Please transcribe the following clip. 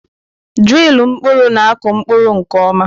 Drilu mkpụrụ na-akụ mkpụrụ nke ọma.